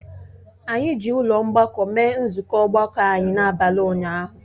Anyị ji ụlọ mgbakọ mee nzukọ ọgbakọ anyị n'abalị ụnyahụ